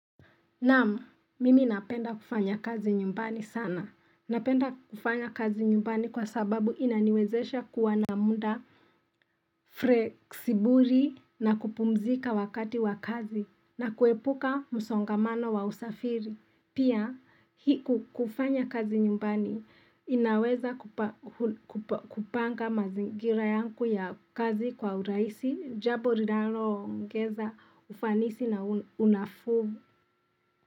Naam, mimi napenda kufanya kazi nyumbani sana. Napenda kufanya kazi nyumbani kwa sababu inaniwezesha kuwa na muda freksiburi na kupumzika wakati wa kazi na kuepuka msongamano wa usafiri. Pia, kufanya kazi nyumbani inaweza kupanga mazingira yangu ya kazi kwa urahisi, jambo linaloongeza ufanisi na unafuu.